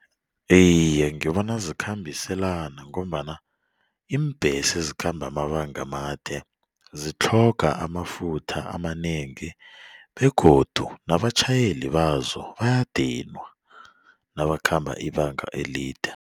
Iye, ngibona zikhambiselana ngombana iimbhesi ezikhamba amabanga amade zitlhoga amafutha amanengi begodu nabatjhayeli bazo bayadinwa nabakhamba ibanga elide.